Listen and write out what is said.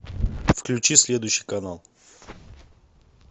включи следующий канал